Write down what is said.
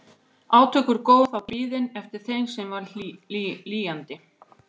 Átök voru góð, það var biðin eftir þeim sem var lýjandi.